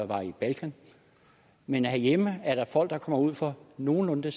var i balkan men herhjemme er der jo folk der kommer ud for nogenlunde